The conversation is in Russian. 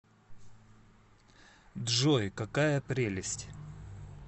джой какая прелесть